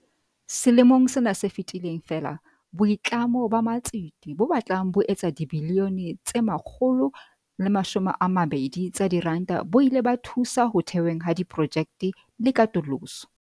Selemong sena se fetileng feela, boitlamo ba matsete bo batlang bo etsa dibilione tse 120 tsa diranta bo ile ba thusa ho theweng ha diprojekte le katoloso.